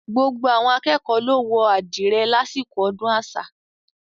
Gbogbo akékọ̀ọ́ ló wọ àdìrẹ lásìkò ọdún àṣà.